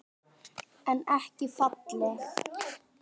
En ekki falleg.